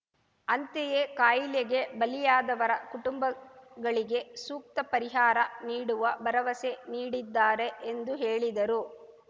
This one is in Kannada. ಅಂತೆಯೆ ಕಾಯಿಲೆಗೆ ಬಲಿಯಾದವರ ಕುಟುಂಬಗಳಿಗೆ ಸೂಕ್ತ ಪರಿಹಾರ ನೀಡುವ ಭರವಸೆ ನೀಡಿದ್ದಾರೆ ಎಂದು ಹೇಳಿದರು